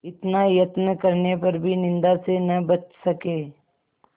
इतना यत्न करने पर भी निंदा से न बच सके